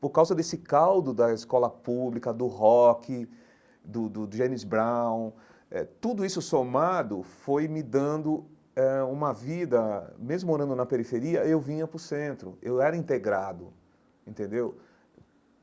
Por causa desse caldo da escola pública, do rock, do do James Brown eh, tudo isso somado foi me dando eh uma vida... Mesmo morando na periferia, eu vinha para o centro, eu era integrado, entendeu?